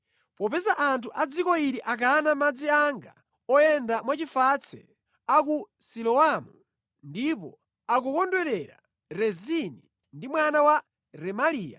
“Popeza anthu a dziko ili akana madzi anga oyenda mwachifatse a ku Siloamu, ndipo akukondwerera Rezini ndi mwana wa Remaliya,